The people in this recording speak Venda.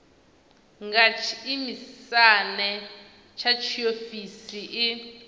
nga tshiisimane tsha tshiofisi i